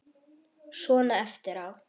Svona eftir á.